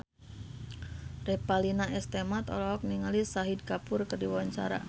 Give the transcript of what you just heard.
Revalina S. Temat olohok ningali Shahid Kapoor keur diwawancara